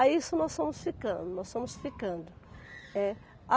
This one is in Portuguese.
Aí isso nós fomos ficando, nós fomos ficando, é.